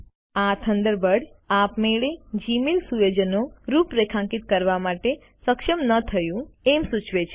આ થન્ડરબર્ડ આપમેળે જીમેઇલ સુયોજનો રૂપરેખાંકિત કરવા માટે સક્ષમ ન થયું એમ સૂચવે છે